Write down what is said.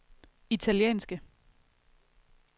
italienske